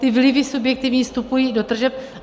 Ty vlivy subjektivní vstupují do tržeb.